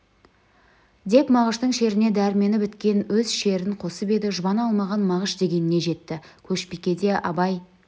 деп мағыштың шеріне дәрмені біткен өз шерін қосып еді жұбана алмаған мағыш дегеніне жетті көшбикеде абай